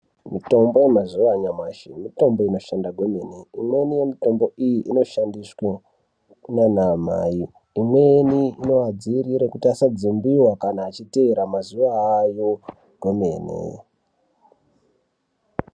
Mitombo yamazuva anyamashi mitombo inshanda kwemene. Imweni yemitombo iyi inoshandiswe kunana mai, imweni inovadzivirire kuti vasadzimbiwa kana vachitevera mazuva ayo kwemene.